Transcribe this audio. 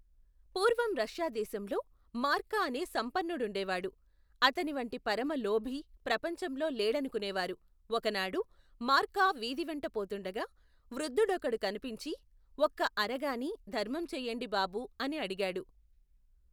పూర్వం రష్యాదేశంలో, మార్కా అనే సంపన్నుడుండేవాడు, అతనివంటి పరమలోభి, ప్రపంచంలో లేడనుకునేవారు, ఒకనాడు, మార్కా వీధివెంట పోతుండగా, వృద్ధుడొకడు కనిపించి, ఒక్క అరగానీ, ధర్మం చెయ్యండి బాబూ, అని అడిగాడు.